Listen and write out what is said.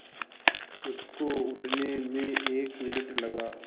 उसको उठने में एक मिनट लगा